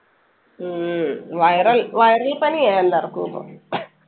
ഉം viral, viral പനിയാ എല്ലാർക്കും ഇപ്പൊ.